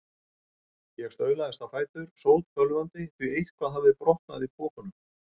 Ég staulaðist á fætur, sótbölvandi, því eitthvað hafði brotnað í pokunum.